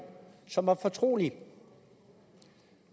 som var fortrolige